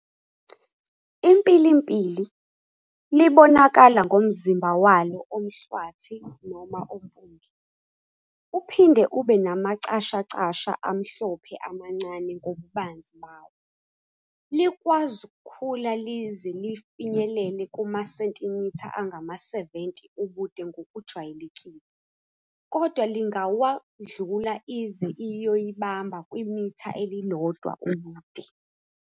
"IMpilimpili" libonakala ngomzimba walo omhlwathi noma ompunge, uphinde ube namacashacasha amuhlophe amancane ngobubanzi bawo. Likwaz' ukukhula lize lifinyelele kumasentimitha angama-70 ubude ngokujwayelekile, kodwa lingawadlula ize iyoyibamba kwi mitha elilodwa ubude.